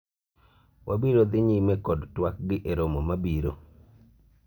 wabiro dhi nyime kod twak gi e romo mabiro